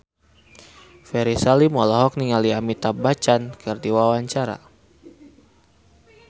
Ferry Salim olohok ningali Amitabh Bachchan keur diwawancara